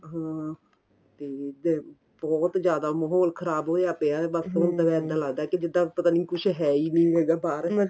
ਹਾਂ ਤੇ ਫੇਰ ਬਹੁਤ ਜਿਆਦਾ ਮਹੋਲ ਖ਼ਰਾਬ ਹੋਇਆ ਪਿਆ ਬੱਸ ਇੱਦਾਂ ਲਗਦਾ ਕੀ ਜਿੱਦਾਂ ਕੁੱਝ ਹੈ ਈ ਨੀਂ ਇਹ ਤਾਂ ਬਾਹਰ